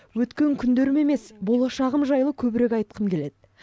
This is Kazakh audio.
өткен күндерім емес болашағым жайлы көбірек айтқым келеді